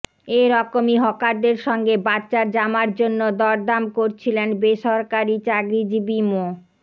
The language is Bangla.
এ রকমই হকারদের সঙ্গে বাচ্চার জামার জন্য দরদাম করছিলেন বেসরকারি চাকরিজীবী মো